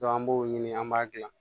an b'o ɲini an b'a dilan